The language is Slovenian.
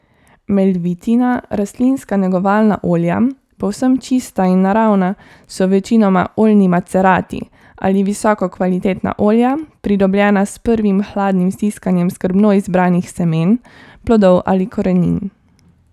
Melvitina rastlinska negovalna olja, povsem čista in naravna, so večinoma oljni macerati ali visoko kvalitetna olja, pridobljena s prvim hladnim stiskanjem skrbno izbranih semen, plodov ali korenin.